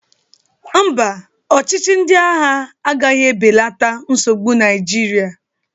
Mba, ọchịchị ndị agha agaghị ebelata nsogbu Naịjirịa.